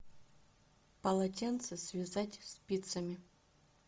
полотенце связать спицами